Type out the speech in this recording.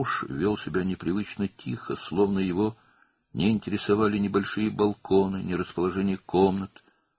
ər qeyri-adi sakit davranırdı, sanki onu nə kiçik eyvanlar, nə də otaqların yeri maraqlandırmırdı.